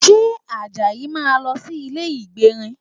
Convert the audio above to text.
Ṣé Àjàyí máa lọ sí ilé ìgbérin?